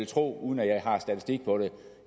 tro uden at jeg har statistik på det